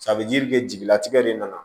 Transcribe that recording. a bɛ jiri kɛ jigilatigɛ le na